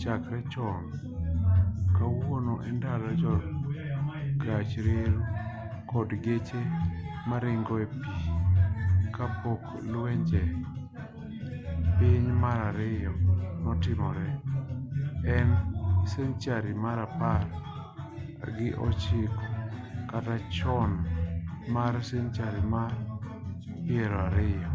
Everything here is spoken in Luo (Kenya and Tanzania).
chakre chon kowuok endalo jo gach reru kod geche maringo e pi ka pok luenje piny mar ariyo notimre e senchari mar apar gi ochiko kata chon mar senchari mar piero ariyo